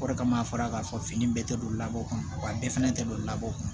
O de kama a fɔra k'a fɔ fini bɛɛ tɛ don labanko kun wa bɛɛ fɛnɛ tɛ don labɔ